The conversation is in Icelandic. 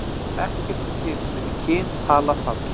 Ekkert er til sem heitir kyn, tala, fall.